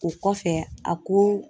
O kɔfɛ a ko